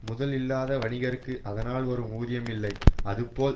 முதல் இல்லாத வணிகர்க்கு அதனால் வரும் ஊதியம் இல்லை அதுபோல்